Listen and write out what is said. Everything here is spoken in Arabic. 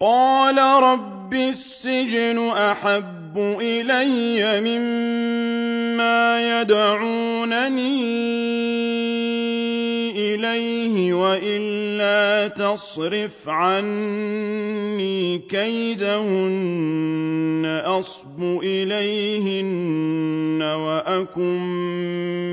قَالَ رَبِّ السِّجْنُ أَحَبُّ إِلَيَّ مِمَّا يَدْعُونَنِي إِلَيْهِ ۖ وَإِلَّا تَصْرِفْ عَنِّي كَيْدَهُنَّ أَصْبُ إِلَيْهِنَّ وَأَكُن